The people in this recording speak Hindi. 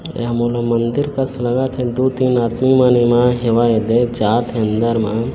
यहाँ मंदिर का शुरुवात है दो तीन आदमी मन हेवै जे जात है अन्दर म--